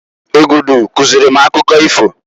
Egudu kuzili m akụkọ ifo.